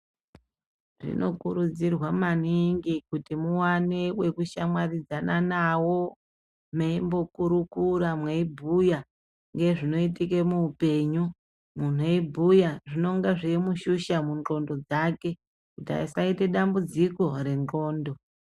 Tinokurudzirwa maningi kuti muwane wekushamwaridzana nawo mweimbokurukura mweibhuya zvinoitika muupenyu. Muntu eibhuya anenge eibhuya zvinenge zveimushusha mundxondo dzake kuti asaita dambudziko rendxondo.